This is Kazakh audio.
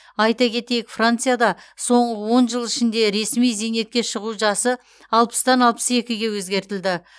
айта кетейік францияда соңғы он жыл ішінде ресми зейнетке шығу жасы алпыстан алпыс екіге өзгертілді